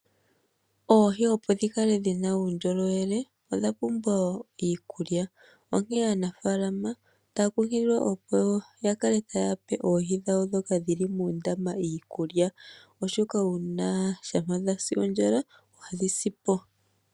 Oohi opo dhi kale dhina uundjolowele odha pumbwa iikulya. Onkee aanafalama otaa kunkililwa opo ya kale taya pe oohi dhawo dhoka dhili muundama iikulya. Oshoka uuna shampa dhasi ondjala adhi sipo.